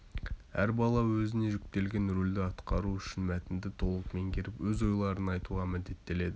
әр бала өзіне жүктелген рөлді атқару үшін мәтінді толық меңгеріп өз ойларын айтуға міндеттеледі